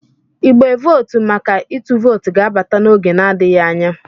igbe vootu maka ịtụ vootu ga-abata n'oge adịghị anya